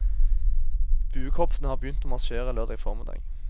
Buekorpsene har begynt å marsjere lørdag formiddag.